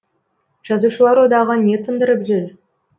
жазушылар одағы не тындырып жүр